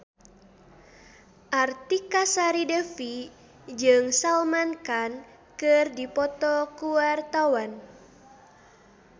Artika Sari Devi jeung Salman Khan keur dipoto ku wartawan